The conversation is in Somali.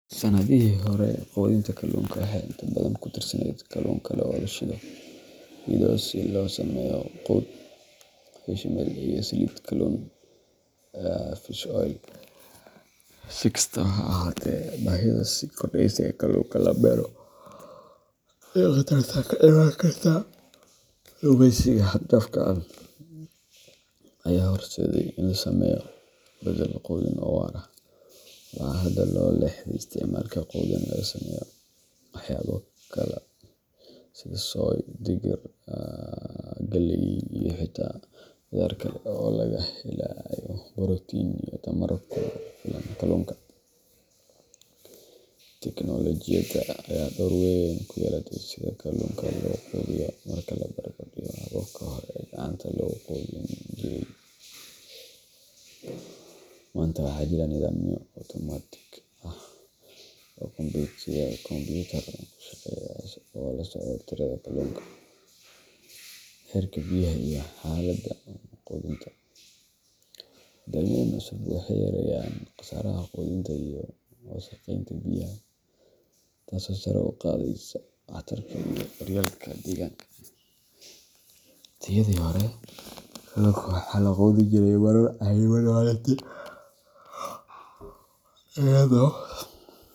Sanadihii hore, quudinta kalluunka waxay inta badan ku tiirsaneyd kalluun kale oo la shiido si loo sameeyo quud fishmeal iyo saliid kalluun fish oil. Si kastaba ha ahaatee, baahida sii kordheysa ee kalluunka la beero, iyo khatarta ka imaan karta kalluumaysiga xad-dhaafka ah, ayaa horseeday in la sameeyo beddel quudin oo waara. Waxaa hadda loo leexday isticmaalka quudin laga sameeyo waxyaabo kale sida soy, digir, galley, iyo xitaa qudaar kale oo laga helayo borotiin iyo tamar ku filan kalluunka. Teknoolojiyadda ayaa door weyn ku yeelatay sida kalluunka loo quudiyo. Marka la barbardhigo hababkii hore ee gacanta lagu quudin jiray, maanta waxaa jira nidaamyo otomaatig ah oo kombuyuutar ku shaqeeya oo la socda tirada kalluunka, heerka biyaha, iyo xaaladda quudinta. Nidaamyadan cusub waxay yareeyaan khasaaraha quudinta iyo wasakheynta biyaha, taasoo sare u qaadaysa waxtarka iyo daryeelka deegaanka. Waqtiyadii hore, kalluunka waxaa la quudin jiray marar cayiman maalintii iyadoo.